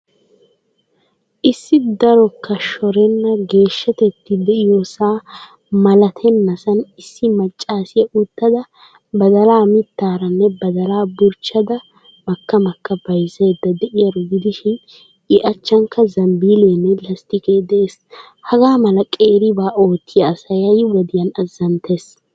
Issi darokka shorenna geeshshateti diyoosaa malattennasaan issi maaccaasiya uttda badalaa mittaaranne badalaa burchchada maka maka byzzaydda de'iyaaro gidishiin I achchankka zambileenne lastiqqeekka dees. Hagaa mala qeeribaa oottiya asay ha'i wodiyaan azanttees.